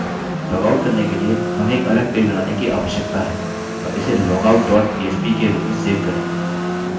logout करने के लिए हमें एक अलग पेज बनाने की आवश्यकता है और इसे logout dot php के रूप में सेव करें